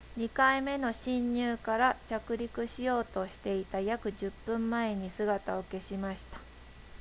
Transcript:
2回目の進入から着陸しようとしていた約10分前に姿を消しました